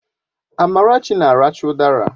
Amarachi na aracha udara